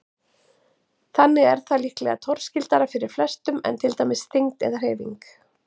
Þannig er það líklega torskildara fyrir flestum en til dæmis þyngd eða hreyfing.